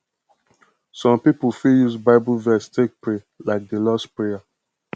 some pipo fit use bible verse take pray like di lords prayer